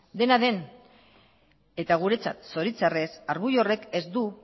dena den eta guretzat zoritxarrez argudio horrek ez du